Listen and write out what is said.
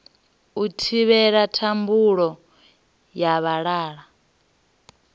u thivhela thambudzo ya vhalala